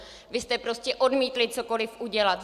Vy jste prostě odmítli cokoli udělat.